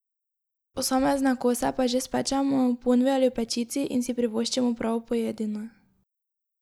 Posamezne kose pa že spečemo, v ponvi ali v pečici, in si privoščimo pravo pojedino.